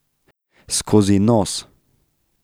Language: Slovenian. Skozi nos.